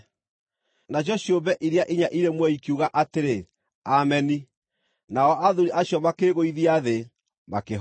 Nacio ciũmbe iria inya irĩ muoyo ikiuga atĩrĩ, “Ameni”, nao athuuri acio makĩĩgũithia thĩ, makĩhooya.